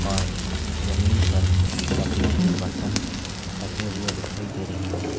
और जमीन पर लकड़ी के बर्तन रखे हुए दिखाई दे रहे हैं।